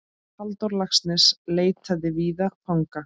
Halldór Laxness leitaði víða fanga.